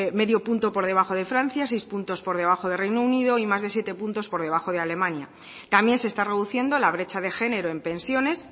medio punto por debajo de francia seis puntos por debajo de reino unido y más de siete puntos por debajo de alemania también se está reduciendo la brecha de género en pensiones